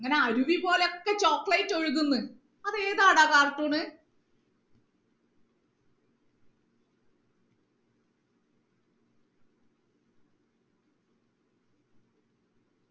ഇങ്ങനെ അരുവി പോലെ ഒക്കെ chocolate ഒഴുകുന്ന് അത് ഏതാടാ ആ cartoon